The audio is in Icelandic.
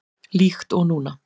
Líkt og núna.